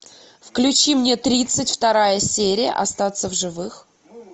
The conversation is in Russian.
включи мне тридцать вторая серия остаться в живых